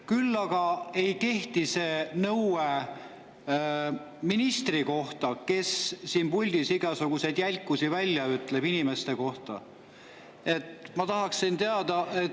Kuid see ei kehti ministrile, kes siin puldis ütleb inimeste kohta igasuguseid jälkusi.